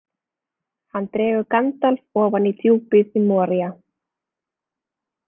Hann dregur Gandalf ofan í djúpið í Moría.